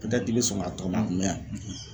i bɛ sɔn k'a tɔgɔ mɛ, a kun bɛ yan